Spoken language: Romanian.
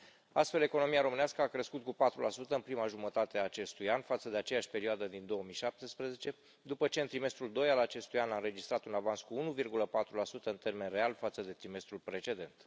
Astfel, economia românească a crescut cu 4 în prima jumătate a acestui an față de aceeași perioadă din 2017, după ce în trimestrul doi al acestui an a înregistrat un avans cu 1,4 în termeni reali față de trimestrul precedent.